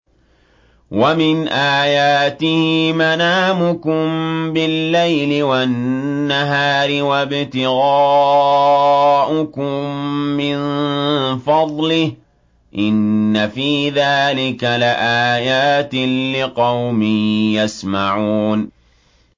وَمِنْ آيَاتِهِ مَنَامُكُم بِاللَّيْلِ وَالنَّهَارِ وَابْتِغَاؤُكُم مِّن فَضْلِهِ ۚ إِنَّ فِي ذَٰلِكَ لَآيَاتٍ لِّقَوْمٍ يَسْمَعُونَ